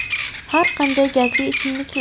Har qanday gazli ichimliklar.